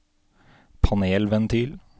panelventil